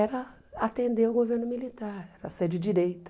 era atender o governo militar, era ser de direita.